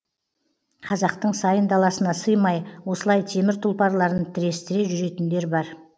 қазақтың сайын даласына сыймай осылай темір тұлпарларын тірестіре жүретіндер бар